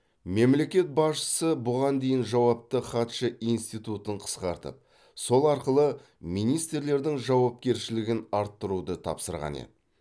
мемлекет басшысы бұған дейін жауапты хатшы институтын қысқартып сол арқылы министрлердің жауапкершілігін арттыруды тапсырған еді